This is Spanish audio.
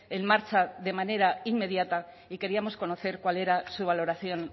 en marcha de manera inmediata y queríamos conocer cuál era su valoración